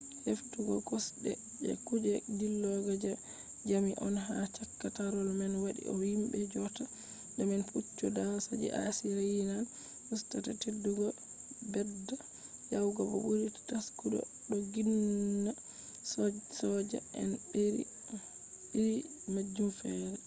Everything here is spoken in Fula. heftugo kosde je kuge dillugo je jamdi on ha chaka tarol man wadi ko himbe jodata do man puccu dasa je assyrian usta teddugo bedda yawugo bo buri taskugo doggina soja en be iri majum fere